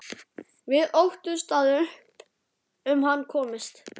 Við óttumst að upp um hann komist.